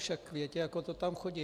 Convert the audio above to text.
Však viete, ako to tam chodí.